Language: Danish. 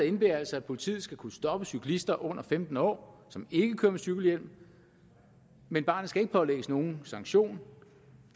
indebærer altså at politiet skal kunne stoppe cyklister under femten år som ikke kører med cykelhjelm men barnet skal ikke pålægges nogen sanktion